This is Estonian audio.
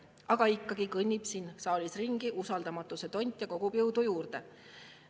Aga ikkagi kõnnib siin saalis ringi usaldamatuse tont ja kogub jõudu juurde.